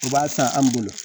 O b'a ta an bolo